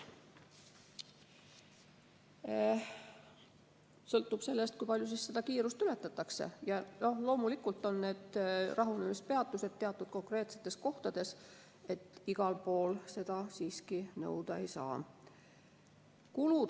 See sõltub sellest, kui palju kiirust ületatakse, ja loomulikult on need rahunemispeatused teatud konkreetsetes kohtades, igal pool seda siiski nõuda ei saa.